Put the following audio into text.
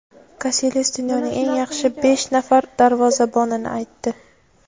Kasilyas dunyoning eng yaxshi besh nafar darvozabonini aytdi.